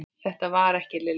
Þetta var ekki Lilla.